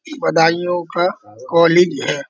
ये बदायूँ का कॉलेज है।